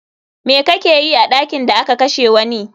Me kakeyi a ɗakin da aka kashe wani?